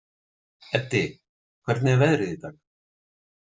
Eddi, hvernig er veðrið í dag?